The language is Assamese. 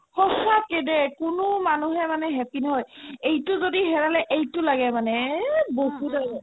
সচাকে দেই কোনো মানুহে মানে হয় এইটো যদি হেৰালে এইটো লাগে আৰু এহ বহুত আৰু